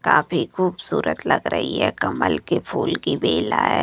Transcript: काफी खूबसूरत लग रही है कमल के फूल की बेला है।